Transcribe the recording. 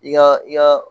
I ka i ka